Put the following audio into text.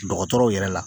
Dɔgɔtɔrɔw yɛrɛ la